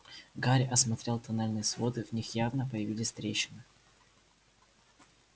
гарри осмотрел тоннельные своды в них явно появились трещины